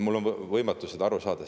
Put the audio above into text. Mul on sellest võimatu aru saada.